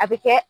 A bɛ kɛ